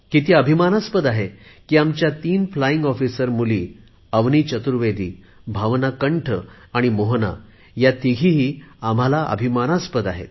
किती अभिमानास्पद आहे की आमच्या तीन फ्लाईंग ऑफिसर मुली अवनि चतुर्वेदी भावना कंठ आणि मोहना ह्या आम्हाला अभिमानास्पद आहेत